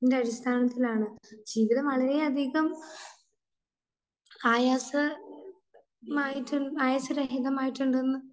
അടിസ്ഥാനത്തിൽ ആണ് ജീവിതം വളരെയധികം ആയാസ...മായിട്ട്, ആയാസരഹിതമായിട്ടുണ്ടെന്ന്